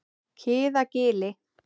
Kiðagili